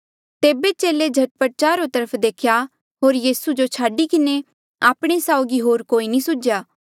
तेबे चेले झट पट चारो तरफ देख्या होर यीसू जो छाडी किन्हें आपणे साउगी होर कोई नी सुझ्या